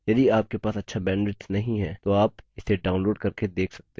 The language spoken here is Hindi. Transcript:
यदि आपके पास अच्छा bandwidth नहीं है तो आप इसे download करके देख सकते हैं